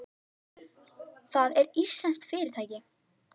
Það er íslenskt fyrirtæki.